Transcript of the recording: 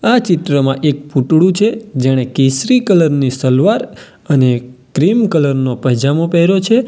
આ ચિત્રમાં એક પૂતળું છે જેણે કેસરી કલર ની સલવાર અને ક્રીમ કલર નો પાયજામો પહેર્યો છે.